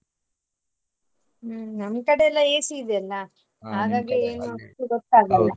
ಹ್ಮ್ ನಮ್ಮ ಕಡೆ ಎಲ್ಲ AC ಇದೆಯಲ್ಲ .